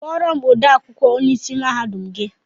Kpọrọ m ode akwụkwọ onye ịsị mahadum gị!